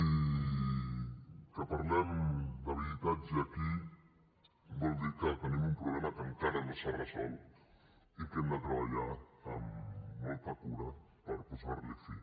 i que parlem d’habitatge aquí vol dir que tenim un problema que encara no s’ha resolt i que hem de treballar amb molta cura per posar li fi